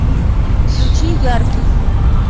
включи яркий